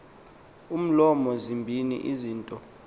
umlomo zimbini izinto